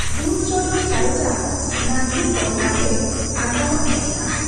ᱫᱩᱞ ᱪᱚᱰᱚᱨ ᱥᱟᱨᱮᱡᱟᱜ ᱱᱟᱹᱨᱲᱤᱠᱚ ᱱᱟᱥᱮ ᱟᱫᱟᱧᱚᱜᱽ ᱞᱮᱠᱟ ᱾